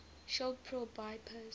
shop pro bypass